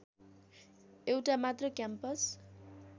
एउटा मात्र क्याम्पस